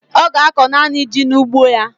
Ọ ga-akọ naanị ji n'ugbo ya.